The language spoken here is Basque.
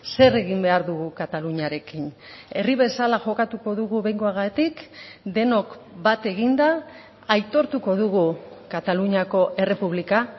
zer egin behar dugu kataluniarekin herri bezala jokatuko dugu behingoagatik denok bat eginda aitortuko dugu kataluniako errepublika